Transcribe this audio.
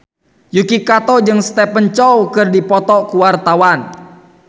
Yuki Kato jeung Stephen Chow keur dipoto ku wartawan